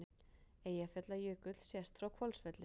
Eyjafjallajökull sést frá Hvolsvelli.